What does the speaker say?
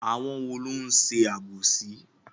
Àwọn wo ló ń ṣe àbòsí?